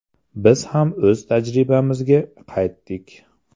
Biz ham o‘z tajribamizga qaytdik.